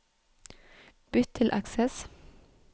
Bytt til Access